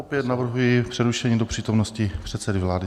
Opět navrhuji přerušení do přítomnosti předsedy vlády.